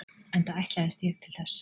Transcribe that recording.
Enda ætlaðist ég til þess.